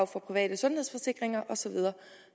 for private sundhedsforsikringer og så videre